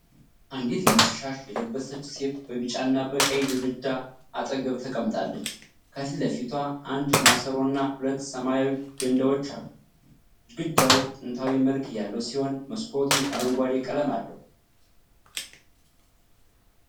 አንዲት ነጭ ሻሽ የለበሰች ሴት በቢጫና በቀይ ግድግዳ አጠገብ ተቀምጣለች። ከፊት ለፊቷ አንድ ማሰሮና ሁለት ሰማያዊ ገንዳዎች አሉ። ግድግዳው ጥንታዊ መልክ ያለው ሲሆን መስኮቱ አረንጓዴ ቀለም አለው።